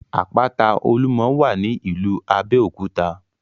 Àpáta Olúmọ wà ní ìlú Abéòkúta